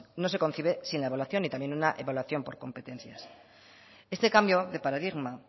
no se concibe sin la evaluación y también una evaluación por competencias este cambio de paradigma